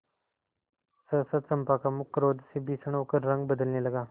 सहसा चंपा का मुख क्रोध से भीषण होकर रंग बदलने लगा